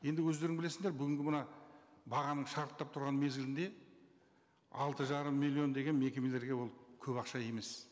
енді өздерің білесіңдер бүгінгі мына бағаның шарықтап тұрған мезгілінде алты жарым миллион деген мекемелерге ол көп ақша емес